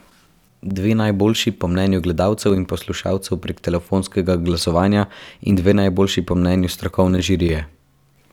Dve najboljši po mnenju gledalcev in poslušalcev prek telefonskega glasovanja in dve najboljši po mnenju strokovne žirije.